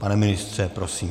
Pane ministře, prosím.